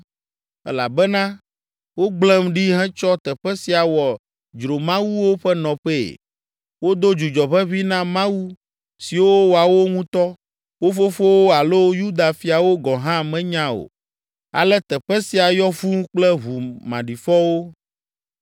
Elabena wogblẽm ɖi hetsɔ teƒe sia wɔ dzromawuwo ƒe nɔƒee. Wodo dzudzɔ ʋeʋĩ na mawu siwo woawo ŋutɔ, wo fofowo alo Yuda fiawo gɔ̃ hã menya o. Ale teƒe sia yɔ fũu kple ʋu maɖifɔwo.